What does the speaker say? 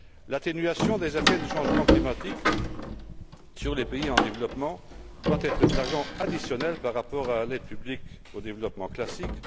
L'atténuation des effets du changement climatique sur les pays en développement doit être de l'argent additionnel par rapport à l'aide publique au développement classique.